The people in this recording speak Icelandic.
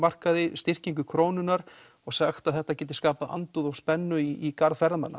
styrkingu krónunnar og sagt að þetta geti skapað andúð og spennu í garð ferðamanna